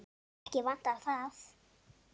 Ekki vantar það.